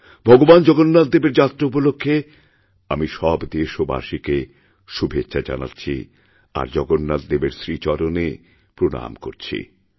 ভগবান জগন্নাথদেবেরযাত্রা উপলক্ষে আমি সব দেশবাসীকে শুভেচ্ছা জানাচ্ছি আর জগন্নাথদেবের শ্রীচরণেপ্রণাম করছি